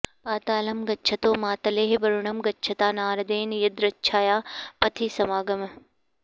पातालं गच्छतो मातलेः वरुणं गच्छता नारदेन यदृच्छया पथि समागमः